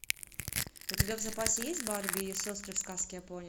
у тебя в запасе есть барби и ее сестры в сказке о пони